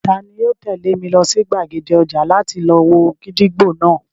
Tani yóò tẹ̀lé mi lọ sí gbàgede ọjà náà láti lọ wo gídígbò náà?